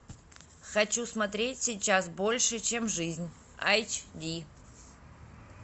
хочу смотреть сейчас больше чем жизнь айч ди